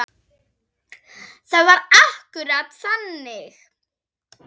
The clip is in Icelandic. Það var akkúrat þannig.